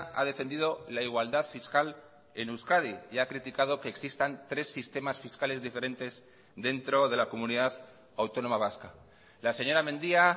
ha defendido la igualdad fiscal en euskadi y ha criticado que existan tres sistemas fiscales diferentes dentro de la comunidad autónoma vasca la señora mendia